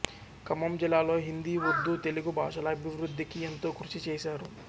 ఖమ్మం జిల్లాలో హిందీ ఉర్దూ తెలుగు బాషల అభివృద్ధికి ఎంతో కృషిచేశారు